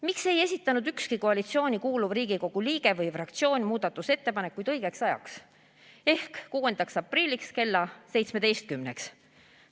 Miks ei esitanud ükski koalitsiooni kuuluv Riigikogu liige või fraktsioon muudatusettepanekuid õigeks ajaks ehk 6. aprilliks kella 17-ks?